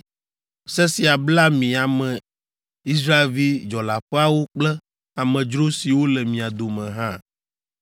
Se sia bla mi ame Israelvi dzɔleaƒeawo kple amedzro siwo le mia dome hã.